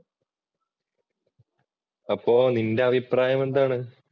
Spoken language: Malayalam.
അപ്പോൾ നിന്‍റെ അഭിപ്രായം എന്താണ്?